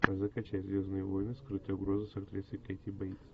закачай звездные войны скрытая угроза с актрисой кэти бейтс